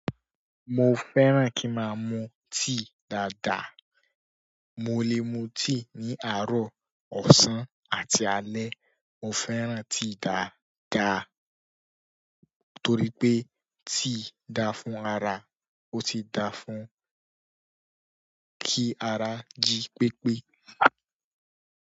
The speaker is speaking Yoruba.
Mo fẹ́ràn ki ma mu tíì dáada. Mo le mu tíì ní àárọ̀, ọ̀sán àti alẹ́. Mo fẹ́ràn tíì dáadáa torí pé tíì dáa fún ara. Ó sì da fún kí ara jí pépé.